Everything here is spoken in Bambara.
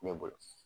Ne bolo